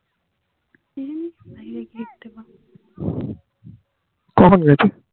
কখন গেছে